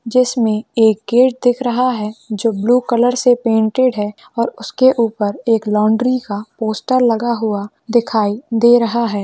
जिसमे एक गेट दिख रहा है जो ब्लू कलर से पेंटिड है उसके ऊपर एक लौंड्री का पोस्टर लगा हुआ दिखाई दे रहा है।